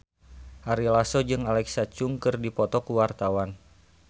Ari Lasso jeung Alexa Chung keur dipoto ku wartawan